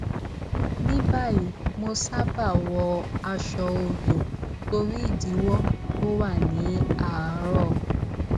ní báyìí mo sábà wọ aṣọòjò torí ìdíwọ tó wà ní àárọ